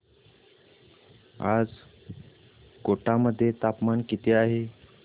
आज कोटा मध्ये तापमान किती आहे